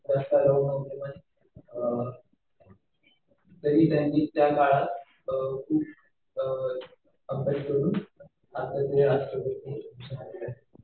जास्त अलाऊड नव्हतं. पण तरी त्यांनी त्या काळात खूप अभ्यास करून भारताचे राष्ट्रपती बनले.